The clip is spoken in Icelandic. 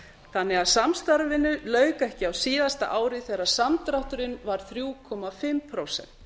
þannig að samstarfinu lauk ekki á síðasta ári þegar samdrátturinn var þriggja og hálft prósent